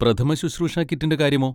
പ്രഥമശുശ്രൂഷ കിറ്റിന്റെ കാര്യമോ?